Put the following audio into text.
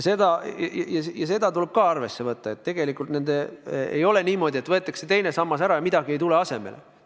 Seda tuleb ka arvesse võtta, et tegelikult ei ole niimoodi, et võetakse teine sammas ära ja midagi ei tule asemele.